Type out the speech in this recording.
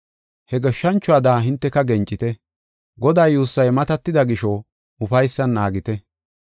He goshshanchuwada hinteka gencite. Godaa yuussay matatida gisho ufaysan naagite.